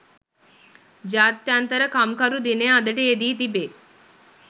ජාත්‍යන්තර කම්කරු දිනය අදට යෙදී තිබේ.